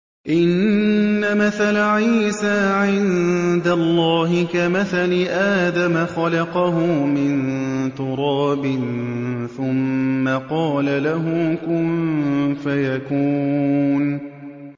إِنَّ مَثَلَ عِيسَىٰ عِندَ اللَّهِ كَمَثَلِ آدَمَ ۖ خَلَقَهُ مِن تُرَابٍ ثُمَّ قَالَ لَهُ كُن فَيَكُونُ